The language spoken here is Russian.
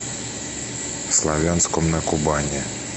славянском на кубани